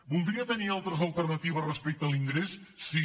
voldria tenir altres alternatives respecte a l’ingrés sí